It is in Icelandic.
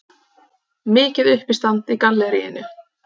Mikið uppistand í galleríinu.